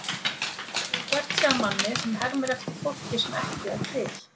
Hann hefur gert sig að manni sem hermir eftir fólki sem ekki er til.